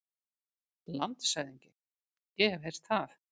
LANDSHÖFÐINGI: Ég hef heyrt það.